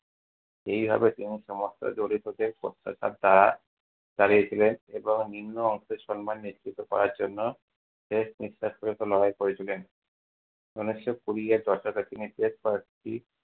এইভাবে তিনি সমস্ত দরিদ্রদের দ্বারা দাঁড়িয়েছিলেন, এবং নিম্ন সম্মান নিশ্চিত করার জন্য শেষ নিশ্বাস পর্যন্ত লড়াই করেছিলেন। ঊনিশশো কুড়ি এর দশকে তিনি বেশ কয়েকটি